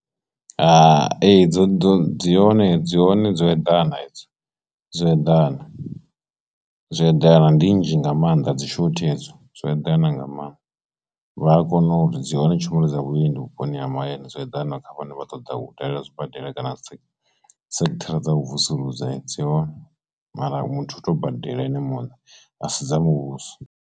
Hai, ee dzo dzi hone dzi hone dzo eḓana dzo eḓana zwo eḓana ndi nnzhi nga maanḓa dzi shothi hedzo dzo eḓana nga mannḓa vha kone u uri dzi hone tshumelo dza vhuendi vhuponi ha mahayani zwo eḓana kha vhane vha ṱoḓa u dalela zwibadela kana sekithara dza vhu vusuludza dzi hone mara muthu u tea u badela ene muṋe a si dza muvhuso.